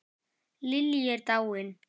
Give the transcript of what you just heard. Lillý er dáin.